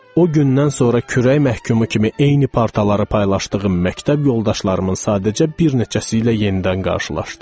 O gündən sonra kürək məhkumu kimi eyni partaları paylaşdığım məktəb yoldaşlarımın sadəcə bir neçəsi ilə yenidən qarşılaşdım.